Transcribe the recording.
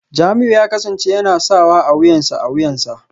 Jamiu ya kasance yana sawa a wuyansa a wuyansa